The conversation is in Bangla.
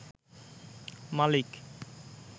মালিক